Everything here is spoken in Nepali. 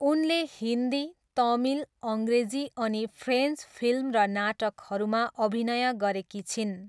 उनले हिन्दी, तमिल, अङ्ग्रेजी अनि फ्रेन्च फिल्म र नाटकहरूमा अभिनय गरेकी छिन्।